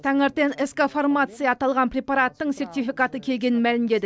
таңертең ск фармация аталған препараттың сертификаты келгенін мәлімдеді